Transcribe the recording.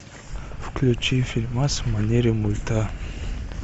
включи фильмас в манере мульта